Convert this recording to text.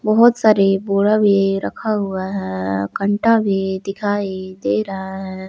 बहोत सारे बोड़ा भी रखा हुआ है घंटा भी दिखाई दे रहा है।